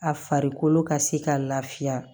A farikolo ka se ka lafiya